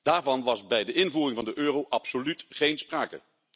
Daarvan was bij de invoering van de euro absoluut geen sprake.